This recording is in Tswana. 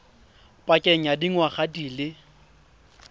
pakeng ya dingwaga di le